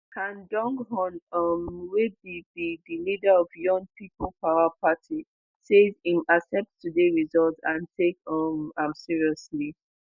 han donghoon um wey be be di leader of yoon people power party says im accept today result and take um am seriously